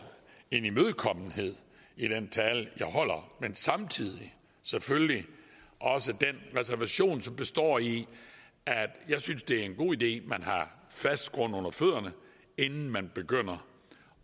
en imødekommenhed i den tale jeg holder men samtidig selvfølgelig også den reservation som består i at jeg synes det er en god idé at man har fast grund under fødderne inden man begynder